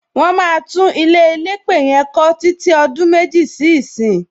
Wọn máa tún ilé elépè yẹn kọ títí ọdún méjì sí ìsín.